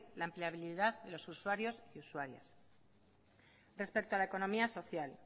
la empleabilidad de los usuarios y usuarias respecto a la economía social